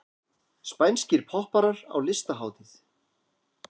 Spænskir popparar á listahátíð